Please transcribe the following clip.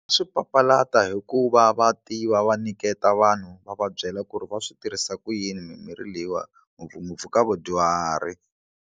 Swi papalata hikuva va tiva va nyiketa vanhu va va byela ku ri va swi tirhisa ku yini mimirhi leyiwani ngopfungopfu ka vadyuhari.